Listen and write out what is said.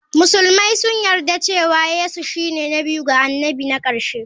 Musulmai sun yarda cewa Yesu shine na biyu ga annabi na ƙarshe.